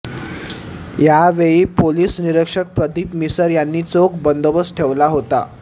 यावेळी पोलिस निरीक्षक प्रदीप मिसर यांनी चोख बंदोबस्त ठेवला होता